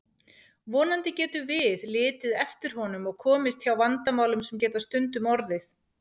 Vonandi getum við litið eftir honum og komist hjá vandamálum sem geta stundum orðið.